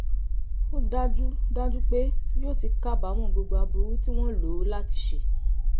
ó dájú dájú pé yóò ti kábàámọ̀ gbogbo aburú tí wọ́n lò ó láti ṣe